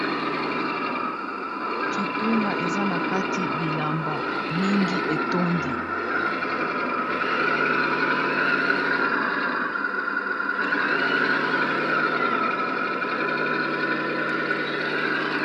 kitunga eza na kati bilamba mingi etondi